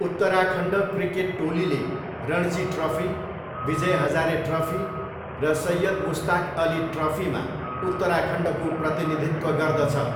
Uttarakhand cricket टोलीले Ranji trophy, Vijay Hazare trophy र सैयद मुस्ताक अली ट्रफीमा उत्तराखण्डको प्रतिनिधित्व गर्दछ।